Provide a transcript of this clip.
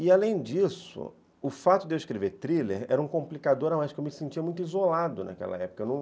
E, além disso, o fato de eu escrever thriller era um complicador a mais, porque eu me sentia muito isolado naquela época. Eu não